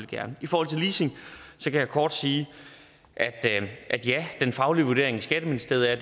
gerne i forhold til leasing kan jeg kort sige at ja den faglige vurdering i skatteministeriet er